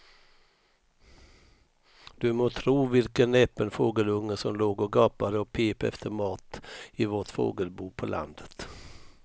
Du må tro vilken näpen fågelunge som låg och gapade och pep efter mat i vårt fågelbo på landet.